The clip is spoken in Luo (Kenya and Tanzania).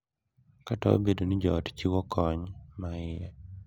Kata obedo ni joot chiwo kony ma iye,